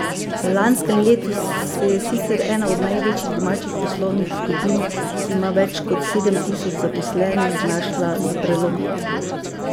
V lanskem letu se je sicer ena od največjih domačih poslovnih skupin, ki ima več kot sedem tisoč zaposlenih, znašla na prelomnici.